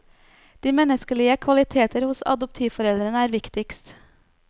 De menneskelige kvaliteter hos adoptivforeldrene er viktigst.